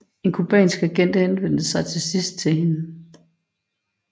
En cubansk agent henvendte sig til sidst til hende